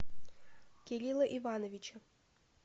кирилла ивановича